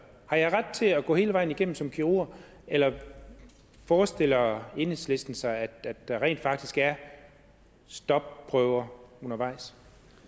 har jeg ret til at gå hele vejen igennem som kirurg eller forestiller enhedslisten sig at der rent faktisk er stopprøver undervejs